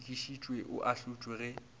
o sekišitšwe o ahlotšwe ge